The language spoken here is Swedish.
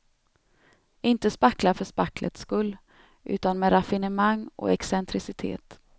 Inte spackla för spacklets skull, utan med raffinemang och excentricitet.